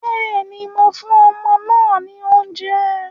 Bẹ́ẹ̀ni, mo fún ọmọ náà ní oúnjẹ